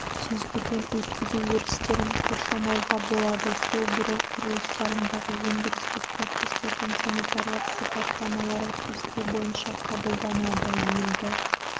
сүзгіден өткізу өрістерін қоршамауға болады су бұру құрылыстарындағы өндірістік процестердің санитарлық сипаттамалары кесте бойынша қабылданады елді